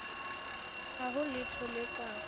ha ho letho le ka